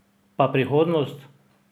Pa prihodnost?